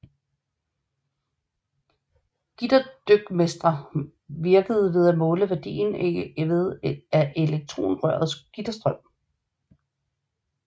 Gitterdykmetre virkede ved at måle værdien af elektronrørets gitterstrøm